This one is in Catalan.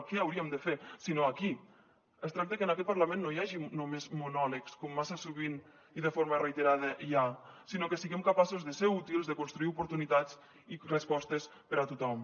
què hauríem de fer si no aquí es tracta que en aquest parlament no hi hagi només monòlegs com massa sovint i de forma reiterada hi ha sinó que siguem capaços de ser útils de construir oportunitats i respostes per a tothom